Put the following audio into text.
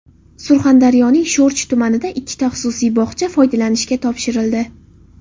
Surxondaryoning Sho‘rchi tumanida ikkita xususiy bog‘cha foydalanishga topshirildi .